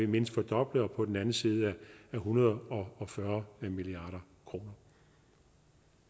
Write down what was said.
mindst fordoblet og på den anden side af en hundrede og fyrre milliard kroner